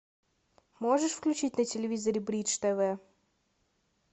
можешь включить на телевизоре бридж тв